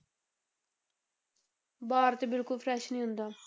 ਬਾਹਰ ਤੇ ਬਿਲਕੁਲ fresh ਨੀ ਹੁੰਦਾ।